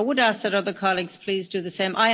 I would ask that other colleagues please do the same.